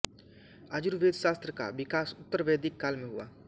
आयुर्वेद शास्त्र का विकास उत्तरवैदिक काल में हुआ